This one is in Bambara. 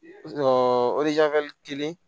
kelen